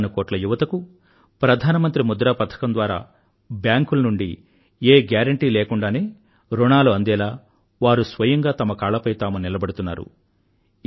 కోటాను కోట్ల యువతకు ప్రధానమంత్రి ముద్రా పథకం ద్వారా బ్యాంకుల నుండి ఏ గ్యారెంటీ లేకుండానే ఋణాలు అందేలా వారు స్వయంగా తమ కాళ్లపై తాము నిలబడుతున్నారు